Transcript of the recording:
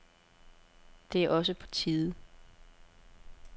Det er også på tide.